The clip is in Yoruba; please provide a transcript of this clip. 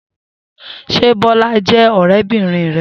Se Bola je orebirin re?